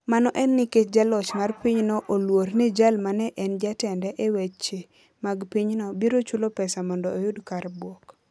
Mano en nikech jaloch mar pinyno oluor ni jal ma ne en jatende e weche mag pinyno biro chulo pesa mondo oyud kar buok.